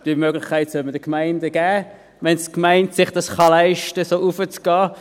Diese Möglichkeit soll man den Gemeinden geben, wenn die Gemeinde sich dies leisten kann, so hinaufzugehen.